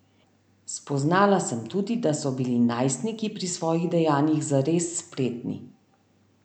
Spoznala sem tudi, da so bili najstniki pri svojih dejanjih zares spretni.